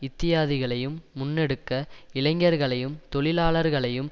இத்தியாதிகளையும் முன்னெடுக்க இளைஞர்களையும் தொழிலாளர்களையும்